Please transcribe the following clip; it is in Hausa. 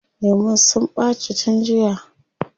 Lemun sun ɓaci tun jiya.